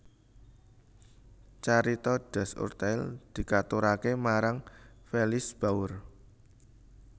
Carita Das Urteil dikaturaké marang Felice Bauer